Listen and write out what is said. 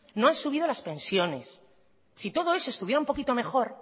no han subido las pensiones si todo eso estuviera un poquito mejor